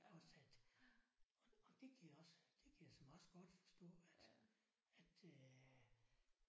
Også at og det kan jeg også det kan jeg såmænd også godt forstå at at øh